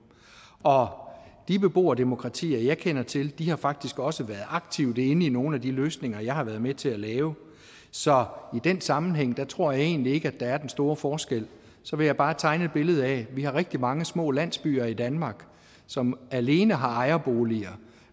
de beboerdemokratier jeg kender til har faktisk også været aktivt inde i nogle af de løsninger jeg har været med til at lave så i den sammenhæng tror jeg egentlig ikke at der er den store forskel så vil jeg bare tegne et billede af at vi har rigtig mange små landsbyer i danmark som alene har ejerboliger